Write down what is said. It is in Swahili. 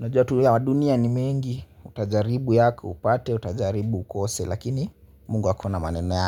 unajua tu ya dunia ni mengi, utajaribu yako upate, utajaribu ukose, lakini Mungu akona maneno yake.